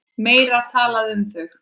Meira er talað um þau.